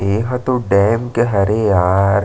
एहा तो डैम के हरे यार--